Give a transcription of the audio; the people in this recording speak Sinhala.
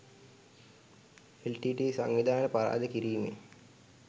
එල්.ටී.ටී.ඊ. සංවිධානය පරාජය කිරිමෙන්